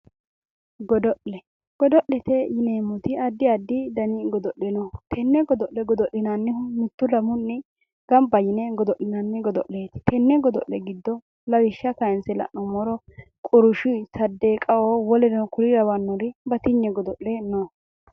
godo'le godo'lete yineemmoti addi addi godo'le no tenne godo'le godo'linannihu mittu lamunni gamba yine godo'linanni godo'leeti tenne godo'le giddo lawishsha kayiinse la'nummoro qurshi saaddeeqaho woleno kuri lawannori batinye godo'le no.